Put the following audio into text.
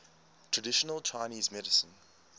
traditional chinese medicine